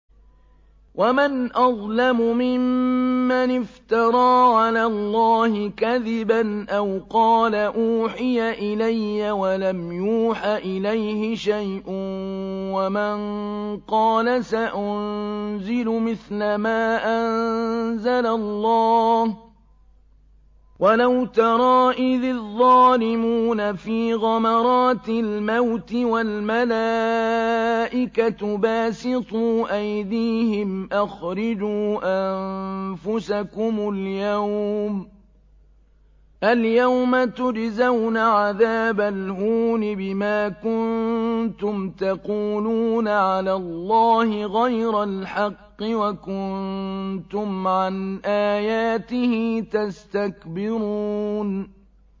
وَمَنْ أَظْلَمُ مِمَّنِ افْتَرَىٰ عَلَى اللَّهِ كَذِبًا أَوْ قَالَ أُوحِيَ إِلَيَّ وَلَمْ يُوحَ إِلَيْهِ شَيْءٌ وَمَن قَالَ سَأُنزِلُ مِثْلَ مَا أَنزَلَ اللَّهُ ۗ وَلَوْ تَرَىٰ إِذِ الظَّالِمُونَ فِي غَمَرَاتِ الْمَوْتِ وَالْمَلَائِكَةُ بَاسِطُو أَيْدِيهِمْ أَخْرِجُوا أَنفُسَكُمُ ۖ الْيَوْمَ تُجْزَوْنَ عَذَابَ الْهُونِ بِمَا كُنتُمْ تَقُولُونَ عَلَى اللَّهِ غَيْرَ الْحَقِّ وَكُنتُمْ عَنْ آيَاتِهِ تَسْتَكْبِرُونَ